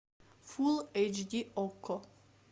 фул эйч ди окко